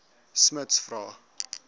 smuts vra